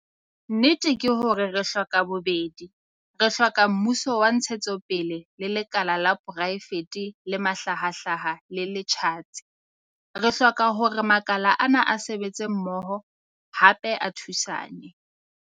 Nnete ke hore re hloka bobedi. Re hloka mmuso wa ntshetsopele le lekala la poraefete le mahlahahlaha le le tjhatsi. Re hloka hore makala ana a sebetse mmoho, hape a thusane.